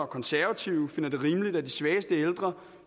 konservative finder det rimeligt at de svageste ældre